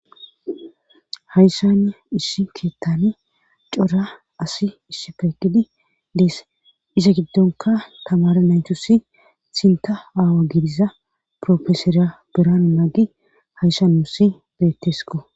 haysana issi keettani cora asi issipekidi dees iza giddonka tamara naytusi sinta aawa gidiza profesora birano nagi hayssanuussi beettesko